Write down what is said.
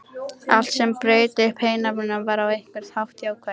Allt sem braut upp einhæfnina var á einhvern hátt jákvætt.